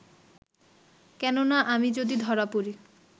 কেননা, আমি যদি ধরা পড়ি